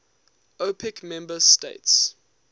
opec member states